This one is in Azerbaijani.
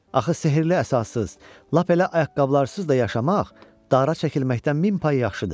Axı sehrli əsassız, lap elə ayaqqabısız da yaşamaq dara çəkilməkdən min pay yaxşıdır.